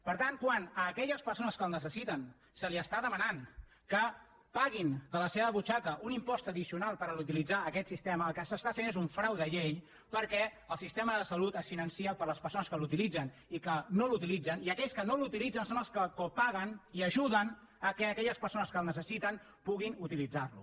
per tant quan a aquelles persones que el necessiten se’ls està demanant que paguin de la seva butxaca un impost addicional per utilitzar aquest sistema el que s’està fent és un frau de llei perquè el sistema de salut es finança per les persones que l’utilitzen i que no l’utilitzen i aquells que no l’utilitzen són els que copaguen i ajuden que aquelles persones que el necessiten puguin utilitzar lo